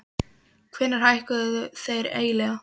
Hvenær hækkuðu þeir eiginlega?